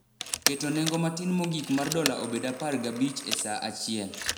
keto nengo matin mogik mar dola obed apar gi abich e saa achiel.